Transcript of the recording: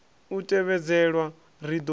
u a tevhedzelwa ri do